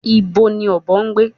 Ibo ni ọ̀bọ ń gbé?